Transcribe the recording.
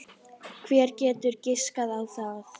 Hver getur giskað á það?